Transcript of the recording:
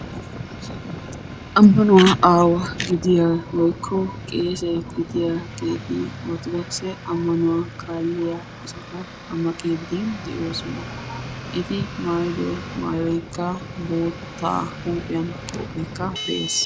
ammanuwaa aawa gidiyaa woykko qeese gidiyaageeti Orttodookisse ammanuwa kaaliyaa asata xamaqqide de'oosona; eti maayyido maayyoykka boottaa huuphiya qophekka de'ees